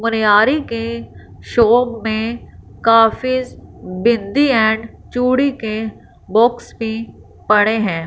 मनियारी के शॉप में काफी बिंदी एंड चूड़ी के बॉक्स भी पड़े हैं।